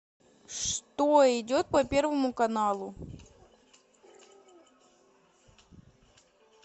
что идет по первому каналу